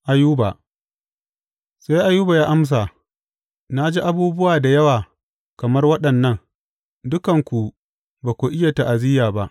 Ayuba Sai Ayuba ya amsa, Na ji abubuwa da yawa kamar waɗannan; dukanku ba ku iya ta’aziyya ba!